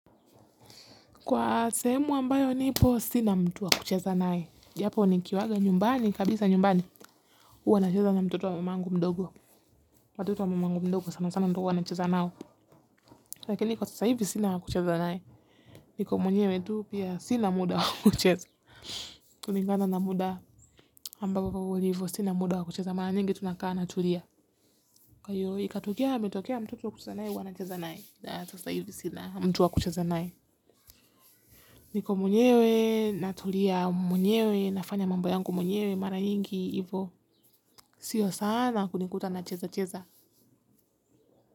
Kwa sehemu ambayo nipo sina mtu wa kucheza nae. Japo nikiwaga nyumbani, kabisa nyumbani, huwa nacheza na mtoto wa mamangu mdogo. Watoto wa mamangu mdogo, sana sana ndio huwa nacheza nao. Lakini kwa sasa hivi sina wa kucheza nae. Niko mwenyewe, tu pia sina muda wa kucheza. Kulingana na muda ambao kwa ulivo, sina muda wa kucheza. Mara nyingi tu nakaa natulia. Kwa hio, ikatokea ametokea mtoto wa kucheza nae, huwa nacheza nae. Kwa sasa hivi sina, mtu wa kucheza nae. Niko mwenyewe, natulia mwenyewe, nafanya mambo yangu mwenyewe, mara nyingi, ivo, sio sana kunikuta nachezacheza.